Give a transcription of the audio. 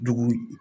Dugu